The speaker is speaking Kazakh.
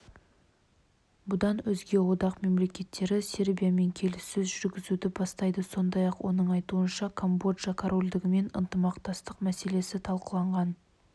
бұдан өзге одақ мемлекеттері сербиямен келіссөз жүргізуді бастайды сондай-ақ оның айтуынша камбоджа корольдігімен ынтымақтастық мәселесі талқыланған